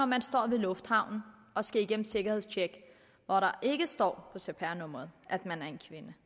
man står i lufthavnen og skal igennem sikkerhedstjekket og der ikke står på cpr nummeret at man er en kvinde